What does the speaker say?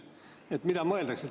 Mida selle all mõeldakse?